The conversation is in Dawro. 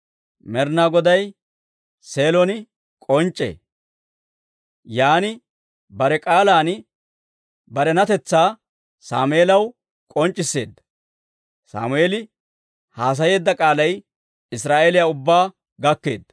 Med'inaa Goday Seelon k'onc'c'ee; yaan bare k'aalan barenatetsaa Sammeelaw k'onc'c'isseedda. Sammeeli haasayeedda k'aalay Israa'eeliyaa ubbaa gakkeedda.